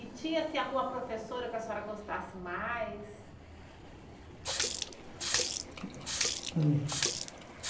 E tinha, assim, alguma professora que a senhora gostasse mais?